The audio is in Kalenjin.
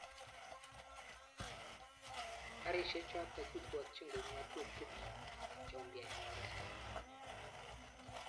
Garishek chotok kipwotchin koip ng'atutik cheumpya eng oret